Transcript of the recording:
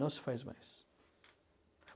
Não se faz mais.